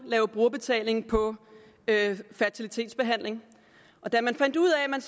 have brugerbetaling på fertilitetsbehandling og da man fandt ud af at man